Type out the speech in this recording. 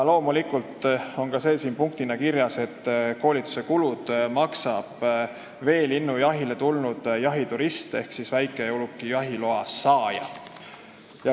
Loomulikult on ka siin punktina kirjas, et koolituse kulud maksab veelinnujahile tulnud jahiturist ehk väikeuluki jahiloa saaja.